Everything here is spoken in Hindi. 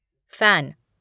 फैन